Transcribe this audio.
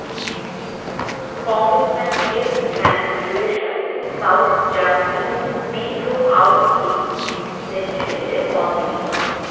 congressman Jeff Van Drew এর সাথে South Jersey metro Awami League নেতৃবৃন্দের মতবিনিময়